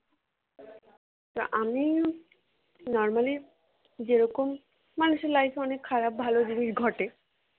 তা আমি, normally যেরকম, মানুষের life এ অনেক খারাপ ভালো জিনিস ঘটে